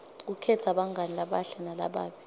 kukhetsa bangani labahle nalababi